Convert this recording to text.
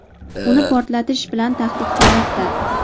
uni portlatish bilan tahdid qilmoqda.